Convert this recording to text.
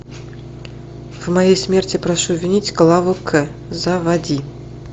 в моей смерти прошу винить клаву к заводи